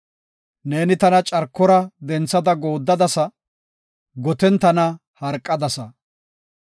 Neeni tana carkora denthada gooddadasa; goten tana harqadasa.